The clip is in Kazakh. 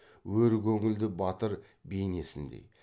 өр көңілді батыр бейнесіндей